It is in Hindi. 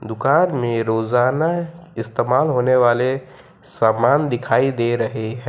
दुकान में रोजाना इस्तेमाल होने वाले सामान दिखाई दे रहे हैं।